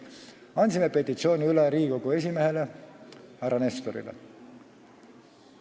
Andsime petitsiooni üle Riigikogu esimehele härra Nestorile.